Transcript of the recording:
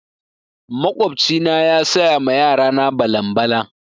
Makwabci na ya saya ma yara na balan-balan.